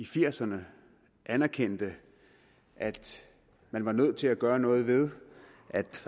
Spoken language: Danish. firserne anerkendte at man var nødt til at gøre noget ved at